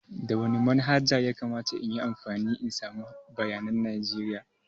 Da wani manhaja ya kamata in yi amfani in samu bayanan najeriya?